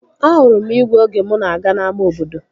Ahụrụ igwe oge mụ na-aga n'ama obodo